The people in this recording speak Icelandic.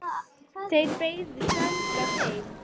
Þeir beygðu þangað heim.